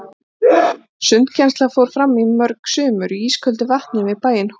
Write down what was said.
Sundkennsla fór fram í mörg sumur í ísköldu vatni við bæinn Hól.